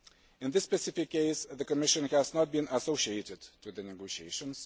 In this specific case, the Commission has not been associated with the negotiations.